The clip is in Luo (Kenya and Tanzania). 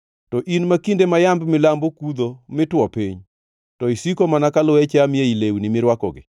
To in ma kinde ma yamb milambo kudho mi two piny, to isiko mana ka luya chami ei lewni mirwakogi,